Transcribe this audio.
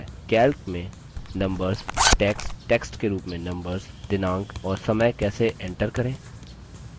calc में numbers text text के रूप में numbers दिनांक और समय कैसे enter करें